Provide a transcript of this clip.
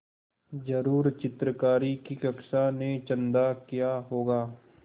ज़रूर चित्रकारी की कक्षा ने चंदा किया होगा